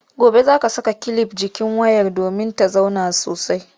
Gobe za a saka kilif a jikin wayar domin ta zauna sosai.